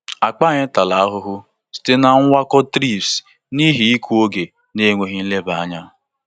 Akpa anyị tara ahụhụ site na mwakpo thrips n'ihi ịkụ oge na enweghị nleba anya.